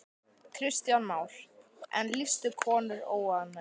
Kristján Már: En lýstu konur óánægju?